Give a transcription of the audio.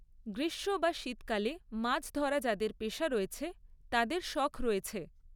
গ্রীষ্ম বা শীতকালে মাছ ধরা যাদের পেশা রয়েছে, তাদের শখ রয়েছে।